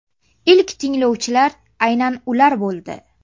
Ilk tinglovchilar aynan ular bo‘ldi.